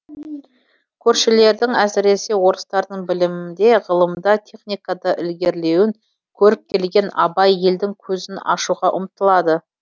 көршілердің әсіресе орыстардың білімде ғылымда техникада ілгерілеуін көріп келген абай елдің көзін ашуға ұмтылады